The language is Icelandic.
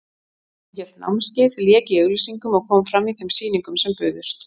Hún hélt námskeið, lék í auglýsingum og kom fram í þeim sýningum sem buðust.